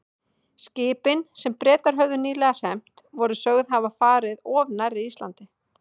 Skipin, sem Bretar höfðu nýlega hremmt, voru sögð hafa farið of nærri Íslandi.